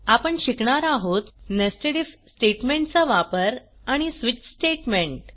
आपण शिकणार आहोत नेस्टेड आयएफ स्टेटमेंट चा वापर आणि स्विच स्टेटमेंट